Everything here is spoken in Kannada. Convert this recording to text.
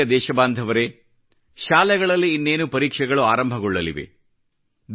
ನನ್ನ ಪ್ರಿಯ ದೇಶಬಾಂಧವರೇ ಶಾಲೆಗಳಲ್ಲಿ ಇನ್ನೇನು ಪರೀಕ್ಷೆಗಳು ಆರಂಭಗೊಳ್ಳಲಿವೆ